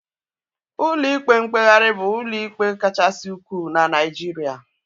Ụlọ ikpe mkpegharị bụ ụlọ ikpe kachasị ukwuu na Naijiria